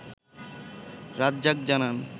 রাজ্জাক জানান